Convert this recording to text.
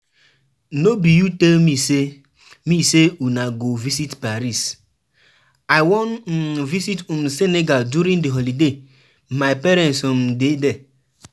I wan um visit um Senegal during the holiday, my parents um dey there